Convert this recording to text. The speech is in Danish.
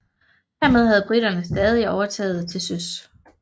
Hermed havde briterne stadig overtaget til søs